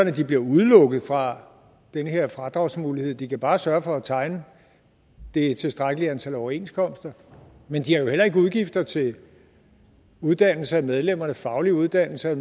at de bliver udelukket fra den her fradragsmulighed de kan bare sørge for at tegne det tilstrækkelige antal overenskomster men de har jo heller ikke udgifter til uddannelse af medlemmernes faglige uddannelse